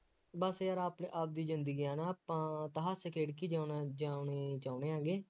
ਬੱਸ ਯਾਰ ਆਪਣੇ ਆਪਦੀ ਜ਼ਿੰਦਗੀ ਹੈ ਨਾ ਆਪਾਂ, ਆਪਾਂ ਹੱਸ ਖੇਡ ਕੇ ਜਿਉਣਾ, ਜਿਉਣੇ ਚਾਹੁੰਦੇ ਹੈਗੇ,